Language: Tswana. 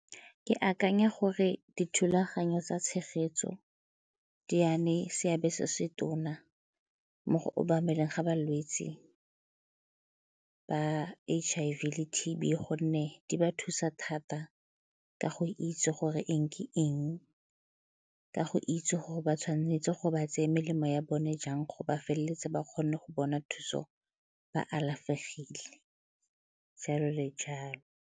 Ke akanya gore dithulaganyo tsa tshegetso di ya ne seabe se se tona mo go obameleng ga balwetse ba H_I_V le T_B gonne di ba thusa thata ka go itse gore eng ke eng, ka go itse gore ba tshwanetse go ba tseye melemo ya bone jang go ba feleletsa ba kgone go bona thuso ba alafegile, jalo le jalo.